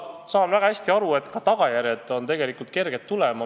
Ma saan väga hästi aru, et ka tagajärjed on tegelikult kerged tulema.